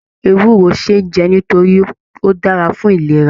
Ewúro ṣeé jẹ nítorí Ó dára fún ìlera.